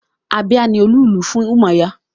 Abia ni olú-ìlú fún Umuahia